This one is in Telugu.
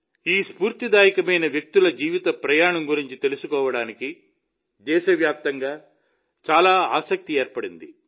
ఈ స్ఫూర్తిదాయకమైన వ్యక్తుల జీవిత ప్రయాణం గురించి తెలుసుకోవడానికి దేశవ్యాప్తంగా చాలా ఆసక్తి ఏర్పడింది